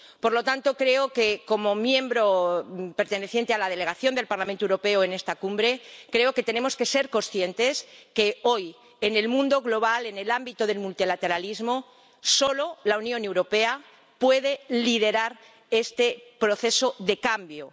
Por lo tanto, como miembro perteneciente a la delegación del Parlamento Europeo en esta cumbre, creo que tenemos que ser conscientes de que hoy, en el mundo global, en el ámbito del multilateralismo, solo la Unión Europea puede liderar este proceso de cambio.